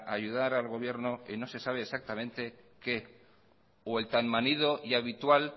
ayudar al gobierno y en se sabe exactamente qué o el tan manido y habitual